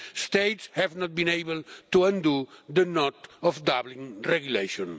States have not been able to undo the knot of the Dublin Regulation.